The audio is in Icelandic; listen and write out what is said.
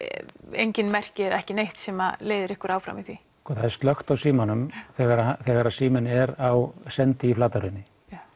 engin merki eða ekki neitt sem leiðir ykkur áfram í því sko það er slökkt á símanum þegar þegar síminn er á sendi í Flatahrauni